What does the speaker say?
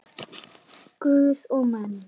Guð og menn.